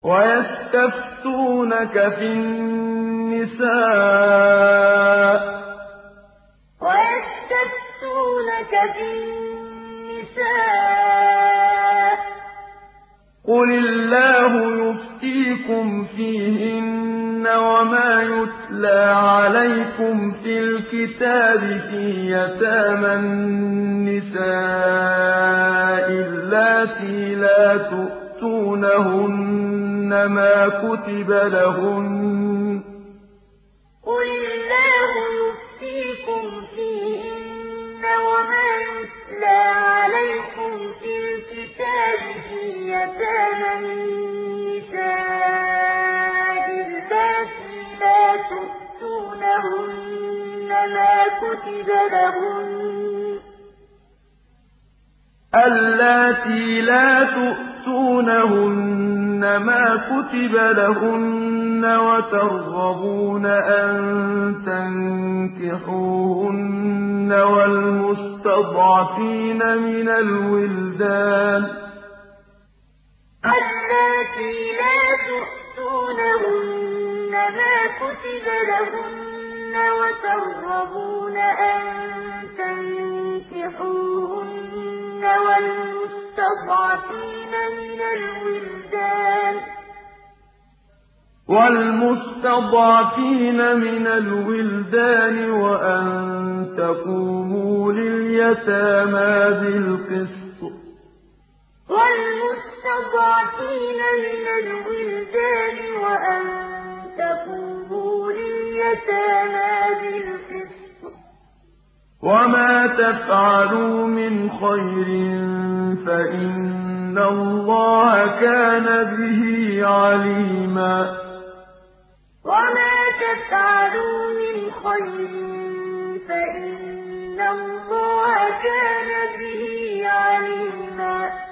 وَيَسْتَفْتُونَكَ فِي النِّسَاءِ ۖ قُلِ اللَّهُ يُفْتِيكُمْ فِيهِنَّ وَمَا يُتْلَىٰ عَلَيْكُمْ فِي الْكِتَابِ فِي يَتَامَى النِّسَاءِ اللَّاتِي لَا تُؤْتُونَهُنَّ مَا كُتِبَ لَهُنَّ وَتَرْغَبُونَ أَن تَنكِحُوهُنَّ وَالْمُسْتَضْعَفِينَ مِنَ الْوِلْدَانِ وَأَن تَقُومُوا لِلْيَتَامَىٰ بِالْقِسْطِ ۚ وَمَا تَفْعَلُوا مِنْ خَيْرٍ فَإِنَّ اللَّهَ كَانَ بِهِ عَلِيمًا وَيَسْتَفْتُونَكَ فِي النِّسَاءِ ۖ قُلِ اللَّهُ يُفْتِيكُمْ فِيهِنَّ وَمَا يُتْلَىٰ عَلَيْكُمْ فِي الْكِتَابِ فِي يَتَامَى النِّسَاءِ اللَّاتِي لَا تُؤْتُونَهُنَّ مَا كُتِبَ لَهُنَّ وَتَرْغَبُونَ أَن تَنكِحُوهُنَّ وَالْمُسْتَضْعَفِينَ مِنَ الْوِلْدَانِ وَأَن تَقُومُوا لِلْيَتَامَىٰ بِالْقِسْطِ ۚ وَمَا تَفْعَلُوا مِنْ خَيْرٍ فَإِنَّ اللَّهَ كَانَ بِهِ عَلِيمًا